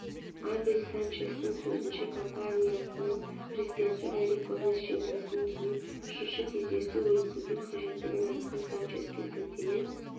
абель санчестің сөзінше компаниясының президенті эрик гомес жеңілісінен кейін үшінші кездесу өткізу қажеттігін айтқан санческе сілтеме